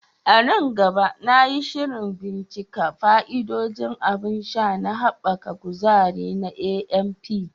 A nan gaba, na yi shirin bincika fa'idodin abun sha na haɓaka kuzari na AMP.